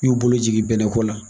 Y'u bolo jigin bɛnnɛko la.